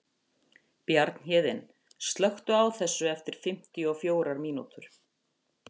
Bjarnhéðinn, slökktu á þessu eftir fimmtíu og fjórar mínútur.